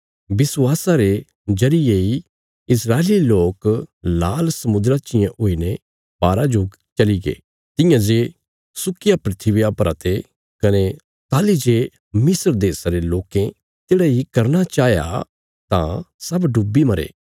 विश्वासा रे जरिये इ इस्राएली लोक लाल समुद्रा चियें हुईने पारा जो चली गये तियां जे सुकिया धरतिया परा ते कने ताहली जे मिस्र देशा रे लोकें तेढ़ा इ करना चाहया तां सब डुबी मरे